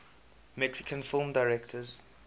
mexican film directors